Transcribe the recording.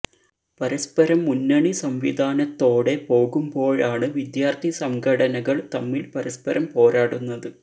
പരസ്പരം മുന്നണി സംവിധാനത്തോടെ പോകുമ്പോഴാണ് വിദ്യാര്ഥി സംഘടനകള് തമ്മില് പരസ്പരം പോരാടുന്നത്